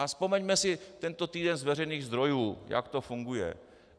A vzpomeňme si tento týden z veřejných zdrojů, jak to funguje.